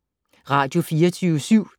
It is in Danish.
Radio24syv